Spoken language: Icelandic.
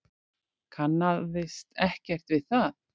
Kannaðist ekkert við það.